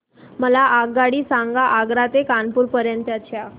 मला आगगाडी सांगा आग्रा ते कानपुर पर्यंत च्या